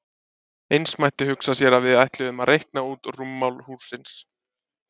Eins mætti hugsa sér að við ætluðum að reikna út rúmmál hússins.